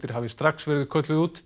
hafi strax verið kölluð út